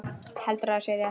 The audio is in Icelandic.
Heldur að sé rétt.